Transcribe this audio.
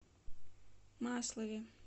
маслове